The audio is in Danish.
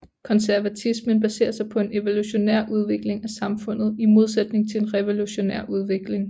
Konservatismen baserer sig på en evolutionær udvikling af samfundet i modsætning til en revolutionær udvikling